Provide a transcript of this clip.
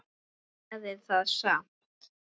Það gerir það samt.